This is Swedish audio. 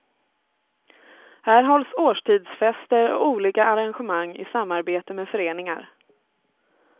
Här hålls årstidsfester och olika arrangemang i samarbete med föreningar.